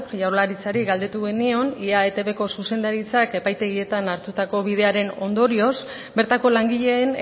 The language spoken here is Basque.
jaurlaritzari galdetu genion ea etbko zuzendaritzak epaitegietan hartutako bidearen ondorioz bertako langileen